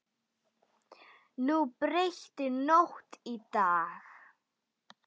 Hún breytti nótt í dag.